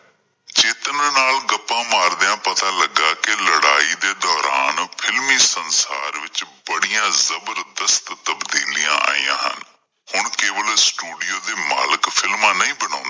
ਚੇਤਨ ਨਾਲ ਗੱਪਾਂ ਮਾਰਦਿਆਂ ਪਤਾ ਲੱਗਾ ਕਿ ਲੜਾਈ ਦੇ ਦੌਰਾਨ films ਫ਼ਿਲਮੀ ਸੰਸਾਰ ਵਿੱਚ ਬੜੀਆਂ ਜ਼ਬਰਦਸਤ ਤਬਦੀਲੀਆਂ ਆਇਆ ਹਨ। ਹੁਣ ਕੇਬਲ studio ਦੇ ਮਾਲਕ films ਨਹੀਂ ਬਣਾਉਂਦੇ